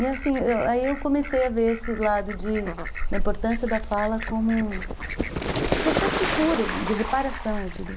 E, assim, eu, aí eu comecei a ver esse lado da importância da fala como processo de cura, de reparação, eu diria.